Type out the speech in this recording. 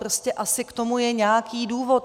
Prostě asi k tomu je nějaký důvod.